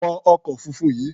Wọ ọkọ̀ funfun yìí!